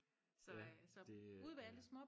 ja det ja